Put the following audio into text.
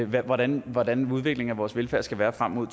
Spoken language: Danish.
hvordan hvordan udviklingen af vores velfærd skal være frem mod